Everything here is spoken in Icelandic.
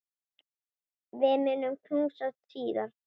Við munum knúsast síðar.